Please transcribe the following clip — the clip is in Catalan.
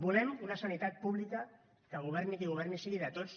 volem una sanitat pública que governi qui governi sigui de tots